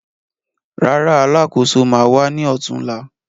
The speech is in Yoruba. Rárá, Alákóso ma wá ní ọ̀túnla